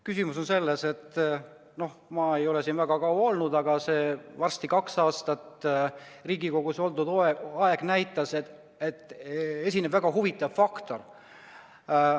Küsimus on selles, et noh, ma ei ole siin väga kaua olnud, aga see varsti kahe aasta pikkune Riigikogus oldud aeg on näidanud, et esineb väga huvitav faktor.